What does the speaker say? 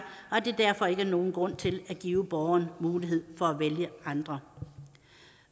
at der derfor ikke er nogen grund til at give borgerne mulighed for at vælge andre